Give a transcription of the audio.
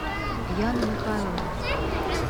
яну михайловну